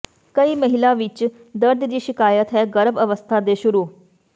ਕਈ ਮਹਿਲਾ ਵਿੱਚ ਦਰਦ ਦੀ ਸ਼ਿਕਾਇਤ ਹੈ ਗਰਭ ਅਵਸਥਾ ਦੇ ਸ਼ੁਰੂ